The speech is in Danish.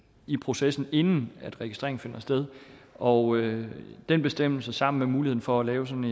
i processen inden registrering finder sted og den bestemmelse sammen med muligheden for at lave sådan